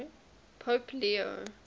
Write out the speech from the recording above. pope leo